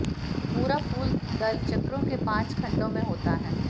पूरा फूल दल चक्रों के पांच खंडों में होता है